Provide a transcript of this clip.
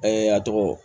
a tɔgɔ